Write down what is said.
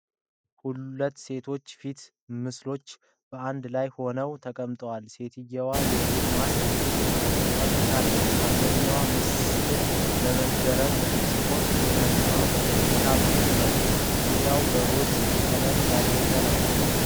ሁለት የሴት ፊት ምስሎች በአንድ ላይ ሆነው ትቀምጠዋል። ሴትየዋ የፊት ማስክ ቀብታለች፤ አንደኛው ምስል በመገረም ሲሆን ሌላኛው በፈገግታ መልክ ነው። ዙሪያው በሮዝ ቀለም ያጌጠ ነው።